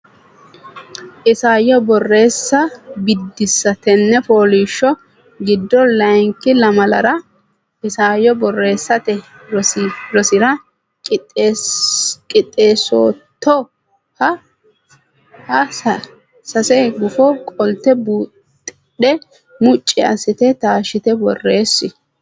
Isayyo Borreessa Biddissa Tenne fooliishsho giddo layinki lamalara isayyo borreessate rosira qixxeessootto(a)ha sase gufo qolte buuxidhe mucci assite taashshite borreessi.